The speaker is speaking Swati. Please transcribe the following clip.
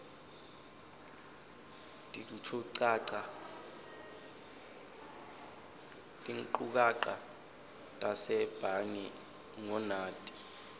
tinchukaca tasebhange ngunati